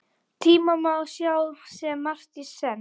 Tíma má sjá sem margt í senn.